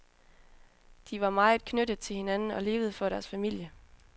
De var meget knyttet til hinanden og levede for deres familie.